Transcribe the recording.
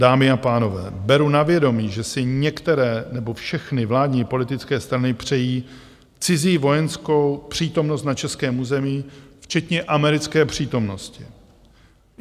Dámy a pánové, beru na vědomí, že si některé, nebo všechny vládní politické strany přejí cizí vojenskou přítomnost na českém území, včetně americké přítomnosti.